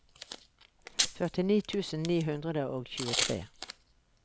førtini tusen ni hundre og tjuetre